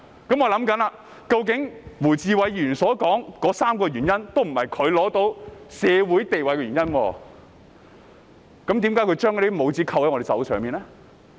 於是我想，胡志偉議員所說的3個原因，都不是他獲得社會地位的原因，為何他要將那些帽子扣在我們身上呢？